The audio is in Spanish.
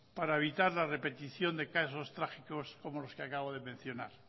para evitar la repetición de casos trágicos como los que acabo de mencionar